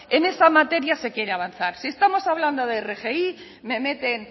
en esa materia se quiere avanzar si estamos hablando de rgi me meten